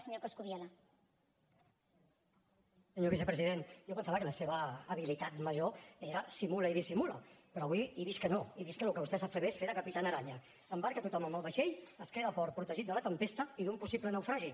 senyor vicepresident jo pensava que la seva habilitat major era simula i dissimula però avui he vist que no he vist que el que vostè sap fer bé és fer de capitán araña embarca tothom en el vaixell es queda a port protegit de la tempesta i d’un possible naufragi